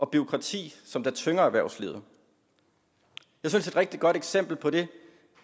bureaukrati som tynger erhvervslivet et rigtig godt eksempel på det